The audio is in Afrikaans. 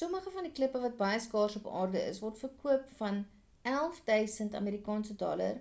sommige van die klippe wat baie skaars op aarde is word verkoop van vs$11 000